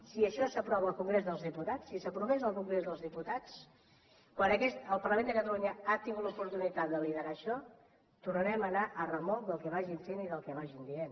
si això s’aprova al congrés dels diputats si s’aprovés al congrés dels diputats quan el parlament de catalunya ha tingut l’oportunitat de liderar això tornarem a anar a remolc del que vagin fent i del que vagin dient